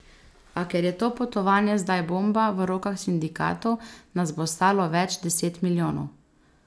A, ker je to potovanje zdaj bomba v rokah sindikatov, nas bo stalo več deset milijonov.